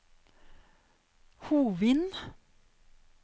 Hovin